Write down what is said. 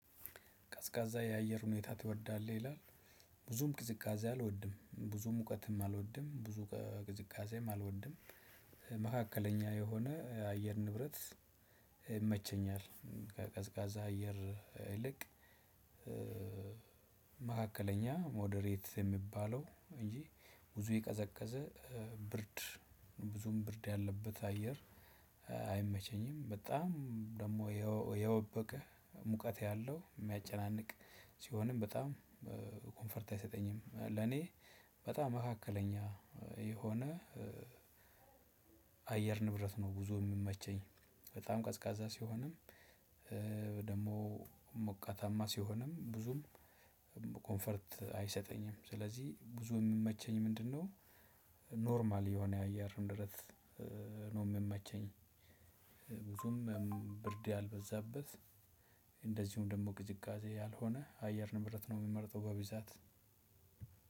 ቀዝቃዛ የአየር ሁኔታ ትወዳለህ? ይላል ብዙም ቅዝቃዜ አልወድም። ብዙም ሙቀትም አልወድም። ብዙ ቅዝቃዜም አልወድም መካከለኛ የሆነ የአየር ንብረት ይመቸኛል። ቀዝቃዛ አየር ይልቅ መካከለኛ ሞደሬት የሚባለው እንጂ ብዙ የቀዘቀዘ ብርድ ብዙም ብርድ ያለበት አየር አይመቸኝም። በጣም ደግሞ የወበቀ ሙቀት ያለው የሚያጨናንቅ ሲሆንም በጣም እፈርት አይሰጠኝም። ለኔ በጣም መካከለኛ የሆነ አየር ንብረት ነው ጉዞ የሚመቸ። በጣም ቀዝቃዛ ሲሆንም ደግሞ ሞቀታማ ሲሆንም ብዙም ኮንፈርት አይሰጠኝም ስለዚህ ብዙ የምመቸኝ ምንድነው ኖርማል የሆነ የአየር ንብረት ነው የምመቸኝ። ብዙም ብርድ ያልበዛበት እንደዚሁም ደግሞ ቅዝቃዜ ያልሆነ አየር ንብርት ነው የሚመርጠው በብዛት